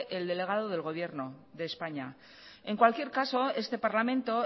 el delegado del gobierno de españa en cualquier caso este parlamento